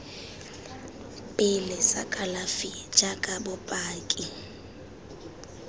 pele sa kalafi jaaka bopaki